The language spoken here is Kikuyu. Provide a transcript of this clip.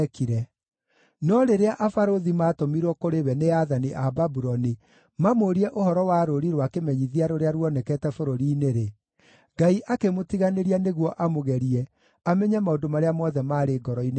No rĩrĩa abarũthi maatũmirwo kũrĩ we nĩ aathani a Babuloni mamũũrie ũhoro wa rũũri rwa kĩmenyithia rũrĩa ruonekete bũrũri-inĩ-rĩ, Ngai akĩmũtiganĩria nĩguo amũgerie amenye maũndũ marĩa mothe maarĩ ngoro-inĩ yake.